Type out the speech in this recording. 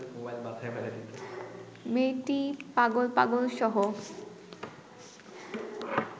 মেয়েটি পাগল পাগলসহ